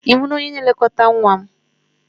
Ị hụla onye na-elekọta nwa m?